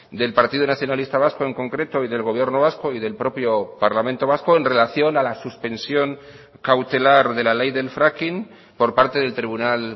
del partido nacionalista vasco en concreto y del gobierno vasco y del propio parlamento vasco en relación a la suspensión cautelar de la ley del fracking por parte del tribunal